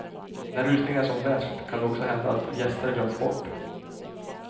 När rusningen är som värst kan det också hända att gäster glöms bort.